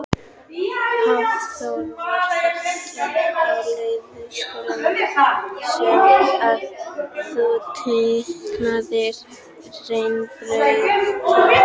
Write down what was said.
Hafþór: Var þetta á leikskólanum sem að þú teiknaðir rennibrautina?